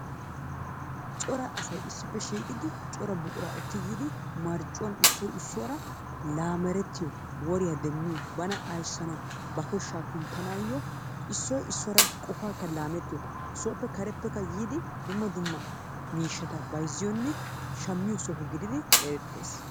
Cora asay issippe shiiqi yiidi cora buquraa ekki yiidi marccuwa issoy isuwara laamerettiyo woriya demmiyo bana ayssana aysanawu ba koshaa kunttanaayoo issoy issuwara qofaakka laamettiyoy demmiyo sooppe kareppekka yiidi dumma dumma miishshata bayzziyonne shammiyo soho gididi eretees.